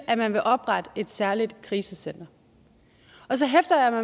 at man ville oprette et særligt krisecenter så hæfter